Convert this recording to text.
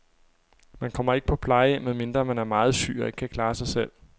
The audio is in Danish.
Man kommer ikke på plejehjem, medmindre man er meget syg og ikke kan klare sig selv.